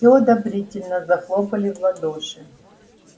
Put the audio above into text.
всё одобрительно захлопали в ладоши